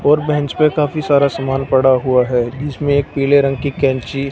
और बेंच पे काफी सारा सामान पड़ा हुआ है जिसमें एक पीले रंग की कैंची--